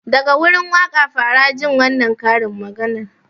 Daga gurin waka fara jin wannan karin maganar?